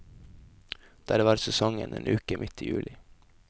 Der var sesongen en uke midt i juli.